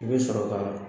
I bɛ sɔrɔ ka